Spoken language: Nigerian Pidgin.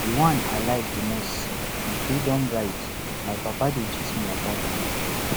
the one i like most be freedom ride my papa dey gist me about am